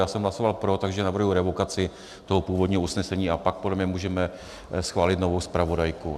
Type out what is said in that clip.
Já jsem hlasoval pro, takže navrhuji revokaci toho původního usnesení a pak podle mě můžeme schválit novou zpravodajku.